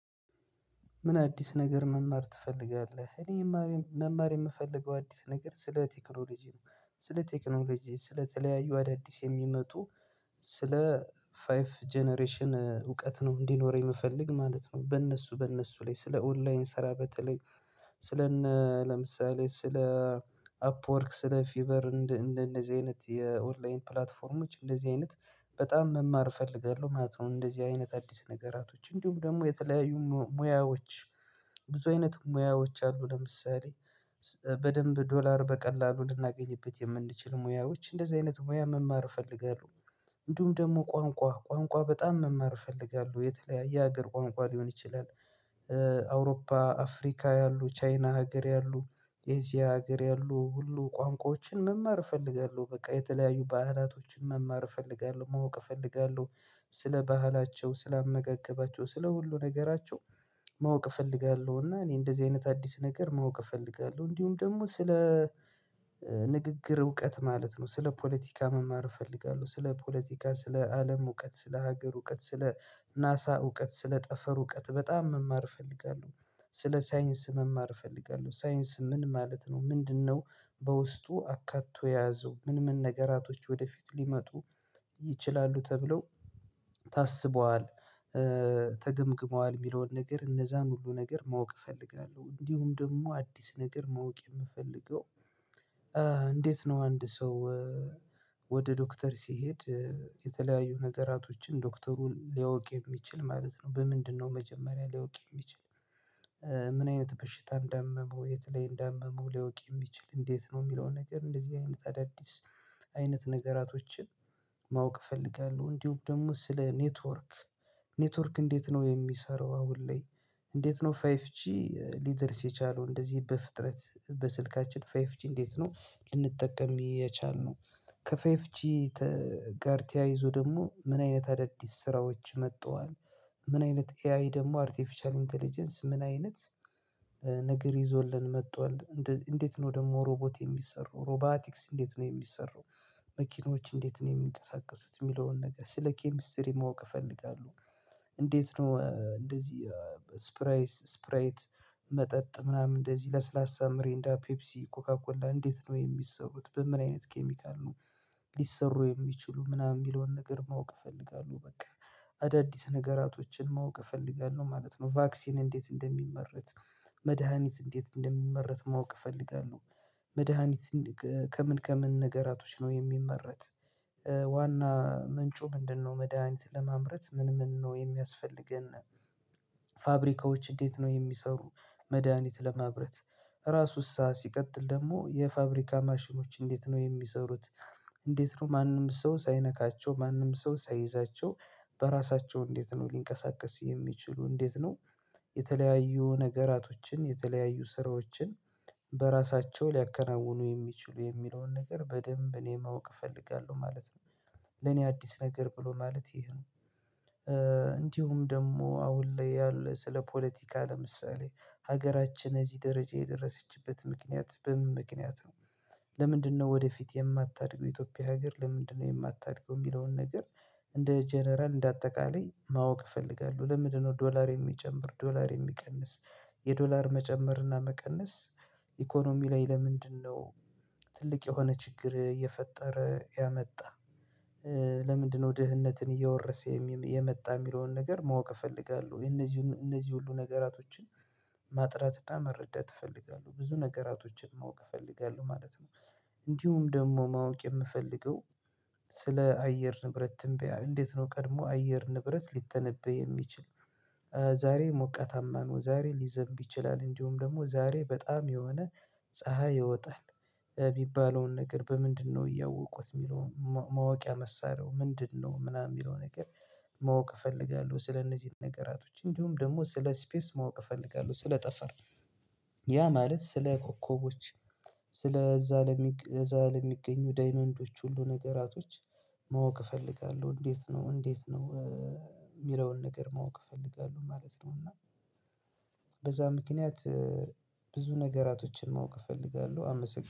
ምን አዲስ ነገር መማር ትፈልጋለህ? እኔ መማር የምፈልገው አዲስ ነገር ስለ ቴክኖሎጂ ነው ስለ ቴክኖሎጂ ስለተለያዩ አዳዲስ የሚመጡ ስለ ፋይቭ ጀነሬሽን እውቀት ነው እንዲኖረኝ የምፈልግ ማለት ነው። በእነሱ በእነሱ ላይ ስለ ኦንላይን ስራ በተለይ ስለነ ለምሳሌ ስለ አፕወርክ ስለ ፊቨር እንደነዚህ አይነት የኦንላይን ፕላትፎርሞች እንደዚህ አይነት በጣም መማር እፈልጋለሁ ማለት ነው። እንደዚህ አይነት አዲስ ነገራቶች እንዲሁም ደግሞ የተለያዩ ሙያዎች ብዙ አይነት ሙያዎች አሉ ለምሳሌ በደንብ ዶላር በቀላሉ ልናገኝበት የምንችል ሙያዎች እንደዚህ አይነት ሙያ መማር እፈልጋለሁ። እንዲሁም ደግሞ ቋንቋ ቋንቋ በጣም መማር እፈልጋለሁ የተለያየ ሀገር ቋንቋ ሊሆን ይችላል አውሮፓ አፍሪካ ያሉ ቻይና ሀገር ያሉ ኤዥያ ሀገር ያሉ ሁሉ ቋንቋዎችን መማር እፈልጋለሁ። በቃ የተለያዩ ባህላቶችን መማር እፈልጋለሁ ማወቅ እፈልጋለሁ ስለ ባህላቸው ስለ አመጋገባቸው ስለ ሁሉ ነገራቸው ማወቅ እፈልጋለሁ። እና እኔ እንደዚህ አይነት አዲስ ነገር ማወቅ እፈልጋለሁ እንዲሁም ደግሞ ስለ ንግግር እውቀት ማለት ነው። ስለ ፖለቲካ መማር እፈልጋለሁ ስለ ፖለቲካ ስለ አለም እውቀት ስለ ሀገር እውቀት ስለ ናሳ እውቀት ስለ ጠፈር እውቀት በጣም መማር እፈልጋለሁ ስለ ሳይንስ መማር እፈልጋለሁ። ሳይንስ ምን ማለት ነው ምንድነው? በውስጡ አካቶ የያዘው ምን ምን ነገራቶች ወደፊት ሊመጡ ይችላሉ ተብለው ታስበዋል ተገምግመዋል የሚለውን ነገር እነዛን ሁሉ ነገር ማወቅ እፈልጋለሁ። እንዲሁም ደግሞ አዲስ ነገር ማወቅ የምፈልገው። እንዴት ነው? አንድ ሰው ወደ ዶክተር ሲሄድ የተለያዩ ነገራቶችን ዶክተሩን ሊያውቅ የሚችል ማለት ነው። በምንድነው መጀመሪያ ሊያውቅ የሚችል ምን አይነት በሽታ እንዳመመው የት ላይ እንዳመመው ሊያውቅ የሚችል እንዴት ነው? የሚለውን ነገር እንደዚህ አይነት ተዳዲስ አይነት ነገራቶችን ማወቅ እፈልጋለሁ። እንዲሁም ደግሞ ስለ ኔትወርክ። ኔትወርክ እንዴት ነው የሚሰራው? አሁን ላይ እንዴት ነው ፋይፍ ጂ ሊደርስ የቻለው? እንደዚህ በፍጥረት በስልካችን ፋይፍ ጂ እንዴት ነው ልንጠቀም የቻልነው? ከፋይፍ ጂ ጋር ተያይዞ ደግሞ ምን አይነት አዳዲስ ስራዎች መጥተዋል። ምን አይነት ኤአይ ደግሞ አርቲፊሻል ኢንተለጀንስ ምን አይነት ነገር ይዞልን መጥቷል? እንዴት ነው ደግሞ ሮቦት የሚሰሩ ሮባቲክስ እንዴት ነው የሚሰሩ? መኪኖች እንዴት ነው የሚንቀሳቀሱት? የሚለውን ነገር ስለ ኬሚስትሪ ማወቅ እፈልጋለሁ። እንዴት ነው እንደዚህ ስፕራይስ ስፕራይት መጠጥ ምናምን እንደዚህ ለስላሳ ምሬንዳ ፔፕሲ ኮካኮላ እንዴት ነው የሚሰሩት? በምን አይነት ኬሚካል ነው? ሊሰሩ የሚችሉ ምናምን የሚለውን ነገር ማወቅ እፈልጋለሁ። በቃ አዳዲስ ነገራቶችን ማወቅ እፈልጋለሁ ማለት ነው። ቫክሲን እንዴት እንደሚመረት መድሃኒት እንዴት እንደሚመረት ማወቅ እፈልጋለሁ። መድሃኒት ከምን ከምን ነገራቶች ነው የሚመረት? ዋና ምንጩ ምንድነው መድሃኒት ለማምረት ምን ምን ነው የሚያስፈልገን? ፋብሪካዎች እንዴት ነው የሚሰሩ? መድሃኒት ለማብረት ራሱሳ ሲቀጥል ደግሞ የፋብሪካ ማሽኖች እንዴት ነው የሚሰሩት? እንዴት ነው ማንም ሰው ሳይነካቸው ማንም ሰው ሳይይዛቸው በራሳቸው እንዴት ነው ሊንቀሳቀሱ የሚችሉ እንዴት ነው? የተለያዩ ነገራቶችን የተለያዩ ስራዎችን በራሳቸው ሊያከናውኑ የሚችሉ የሚለውን ነገር በደንብ እኔ ማወቅ እፈልጋለሁ ማለት ነው። ለኔ አዲስ ነገር ብሎ ማለት ይሄ ነው። እንዲሁም ደግሞ አሁን ላይ ያለ ስለ ፖለቲካ ለምሳሌ ሀገራችን እዚህ ደረጃ የደረሰችበት ምክንያት በምን ምክንያት ነው? ለምንድነው ወደፊት የማታድገው የኢትዮጵያ ሀገር ለምንድነው የማታድገው የሚለውን ነገር? እንደ ጀነራል እንደ አጠቃላይ ማወቅ እፈልጋለሁ። ለምንድነው ዶላር የሚጨምር ዶላር የሚቀንስ የዶላር መጨመርና መቀነስ። ኢኮኖሚ ላይ ለምንድነው ትልቅ የሆነ ችግር እየፈጠረ ያመጣ? ለምንድነው ድህነትን እየወረሰ የመጣ የሚለውን ነገር ማወቅ እፈልጋለሁ። እነዚህ እነዚህ ሁሉ ነገራቶችን ማጥራት እና መረዳት እፈልጋለሁ ብዙ ነገራቶችን ማወቅ እፈልጋለሁ ማለት ነው። እንዲሁም ደግሞ ማወቅ የምፈልገው ስለ አየር ንብረት ትንበያ እንዴት ነው ቀድሞ አየር ንብረት ሊተነበይ የሚችል? ዛሬ ሞቀታማ ነው ዛሬ ሊዘንብ ይችላል እንዲሁም ደግሞ ዛሬ በጣም የሆነ ፀሀይ ይወጣል። የሚባለውን ነገር በምንድነው እያወቁት የሚለውን ማወቂያ መሳሪያው ምንድነው ምናምን የሚለው ነገር? ማወቅ እፈልጋለሁ። ስለነዚህ ነገራቶች እንዲሁም ደግሞ ስለ ስፔስ ማወቅ እፈልጋለሁ። ስለ ጠፈር ያ ማለት ስለ ኮከቦች ስለ እዛ ለሚገኙ ዳይመንዶች ሁሉ ነገራቶች ማወቅ እፈልጋለሁ። እንዴት ነው እንዴት ነው? የሚለውን ነገር ማወቅ እፈልጋለሁ ማለት ነው። እና በዛ ምክንያት ብዙ ነገራቶችን ማወቅ እፈልጋለሁ አመሰግናለሁ